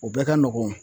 U bɛɛ ka nɔgɔn